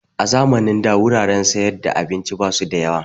A zamanin da wuraren siyar da abinci ba su da yawa.